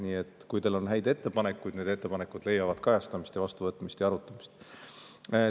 Nii et kui teil on häid ettepanekuid, need ettepanekud leiavad kajastamist, vastuvõtmist ja arutamist.